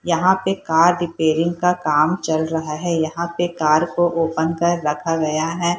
यहाँ पे car repairing का काम चल रहा है यहाँ पे कार को ओपन कर रखा गया है।